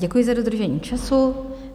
Děkuji za dodržení času.